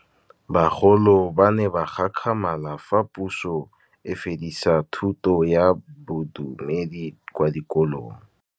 Bagolo ba ne ba gakgamala fa Pusô e fedisa thutô ya Bodumedi kwa dikolong.